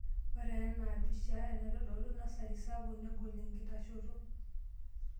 Ore enaa pishaa enaitodolu nasari sapuk negol enkitashoto.